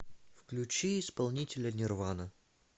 включи исполнителя нирвана